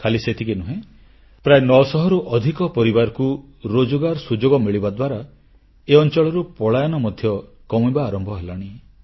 ଖାଲି ସେତିକି ନୁହେଁ ପ୍ରାୟ 900 ରୁ ଅଧିକ ପରିବାରକୁ ରୋଜଗାର ସୁଯୋଗ ମିଳିବା ଦ୍ୱାରା ଏ ଅଂଚଳରୁ ପଳାୟନ ମଧ୍ୟ କମିବା ଆରମ୍ଭ ହେଲାଣି